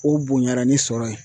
O bonyara ni sɔrɔ ye